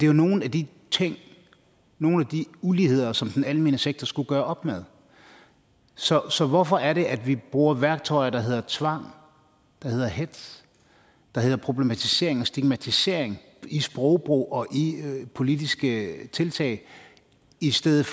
jo nogle af de ting nogle af de uligheder som den almene sektor skulle gøre op med så så hvorfor er det at vi bruger værktøjer der hedder tvang der hedder hetz der hedder problematisering og stigmatisering i sprogbrug og i politiske tiltag i stedet